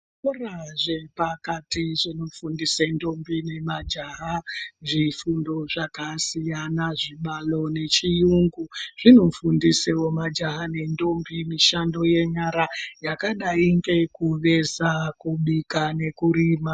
Zvikora zvepakati zvinofundise ndombi nemajaha zvifundo zvakasiyana zvibalo nezviyungu. Zvinofundisevo majaha nendombi mishando yenyara yakadai ngekuveza, kubika nekurima.